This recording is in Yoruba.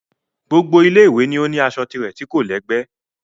Gbogbo Ilé ìwé ni ó ní aṣọ tirẹ̀ tí kò lẹ́gbẹ́